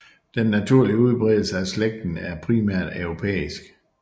Den naturlige udbredelse af slægten er primært europæisk